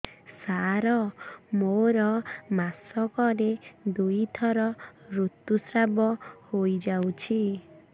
ସାର ମୋର ମାସକରେ ଦୁଇଥର ଋତୁସ୍ରାବ ହୋଇଯାଉଛି